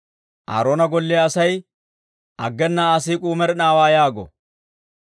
Aaroona golliyaa asay, «Aggena Aa siik'uu med'inaawaa» yaago.